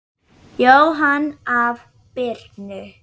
Jóhann: Af Birnu?